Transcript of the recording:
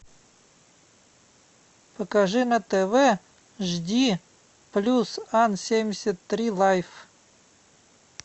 покажи на тв жди плюс ан семьдесят три лайф